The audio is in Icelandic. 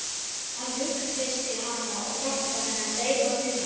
Hann hughreystir hana og hjálpar henni að dreifa huganum.